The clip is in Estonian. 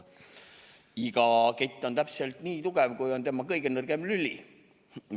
Iga kett on täpselt nii tugev, kui on tema kõige nõrgem lüli.